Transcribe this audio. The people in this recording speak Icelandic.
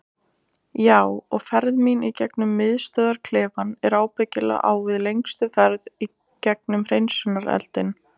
Já og ferð mín í gegnum miðstöðvarklefann er ábyggilega á við lengstu ferð gegnum hreinsunareldinn.